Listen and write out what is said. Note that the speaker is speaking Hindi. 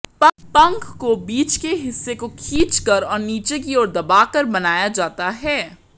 पंख को बीच के हिस्से को खींचकर और नीचे की ओर दबाकर बनाया जाता है